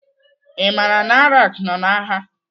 I maara na Iraq nọ n'agha?